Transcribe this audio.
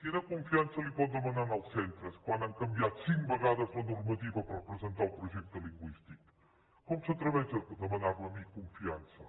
quina con·fiança li pot demanar als centres quan han canviat cinc vegades la normativa per presentar el projecte lingüístic com s’atreveix a demanar·me a mi confiança